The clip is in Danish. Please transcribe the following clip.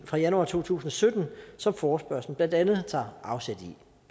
fra januar to tusind og sytten som forespørgslen blandt andet tager afsæt